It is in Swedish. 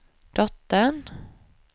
dottern